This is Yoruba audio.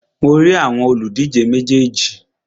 Mo rí àwọn òlùdíje méjèèjì.